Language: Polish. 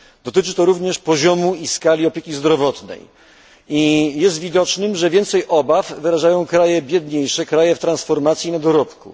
Dotyczy to również poziomu i skali opieki zdrowotnej i jest widoczne, że więcej obaw wyrażają kraje biedniejsze, kraje w transformacji i na dorobku.